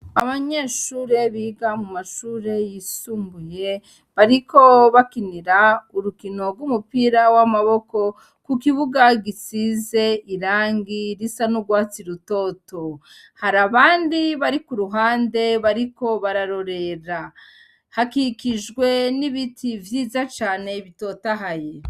Abanyeshure biga mu mashure yisumbuye, bariko bakinira urukino rw'umupira w'amaboko ku kibuga gisize irangi risa n'urwatsi rutoto. Hari abandi bari ku ruhande bariko bararorera. Hakikijwe n'ibiti vyiza cane bitotahaye.